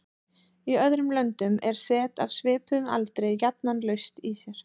Í öðrum löndum er set af svipuðum aldri jafnan laust í sér.